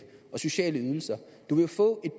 og sociale ydelser du vil få